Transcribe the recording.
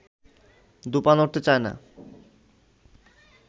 দু’পা নড়তে চায় না